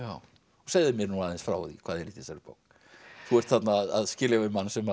segðu mér nú aðeins frá því hvað er í þessari bók þú ert þarna að skilja við mann sem